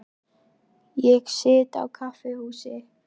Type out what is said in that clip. Ég sit á kaffihúsi.